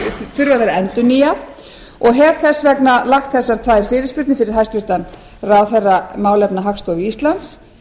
vera endurnýjað og hef þess vegna lagt þessar tvær fyrirspurnir fyrir hæstvirtan ráðherra málefna hagstofu íslands